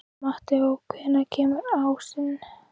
Mateó, hvenær kemur ásinn?